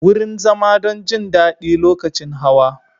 Wurin zama don jin daɗi lokacin hawa.